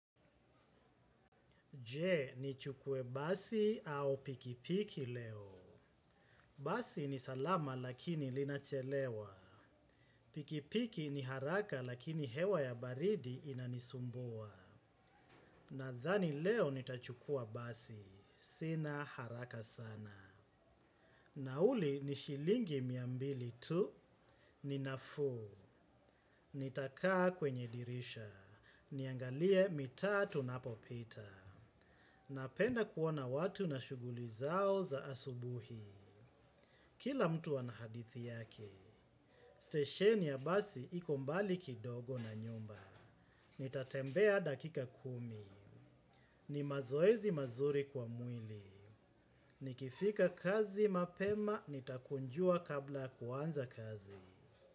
Je, nichukue basi au pikipiki leo. Basi ni salama lakini linachelewa. Pikipiki ni haraka lakini hewa ya baridi inanisumbua. Nadhani leo nitachukua basi. Sina haraka sana. Nauli ni shilingi mia mbili tu. Ni nafuu. Nitakaa kwenye dirisha. Niangalie matatu ninapopita. Napenda kuona watu na shughuli zao za asubuhi. Kila mtu ana hadithi yake. Stesheni ya basi iko mbali kidogo na nyumba. Nitatembea dakika kumi. Ni mazoezi mazuri kwa mwili. Nikifika kazi mapema nitakunjua kabla kuanza kazi.